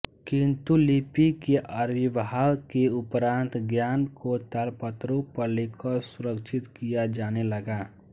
किन्तु लिपि के आविर्भाव के उपरान्त ज्ञान को तालपत्रों पर लिखकर सुरक्षित किया जाने लगा